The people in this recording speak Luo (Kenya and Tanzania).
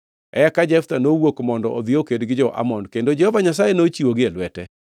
Eka Jeftha nowuok mondo odhi oked gi jo-Amon, kendo Jehova Nyasaye nochiwogi e lwete.